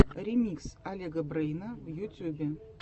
ремикс олега брэйна в ютюбе